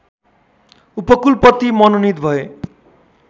उपकुलपति मनोनित भए